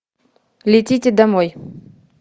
летите домой